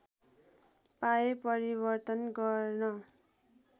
पाए परिवर्तन गर्न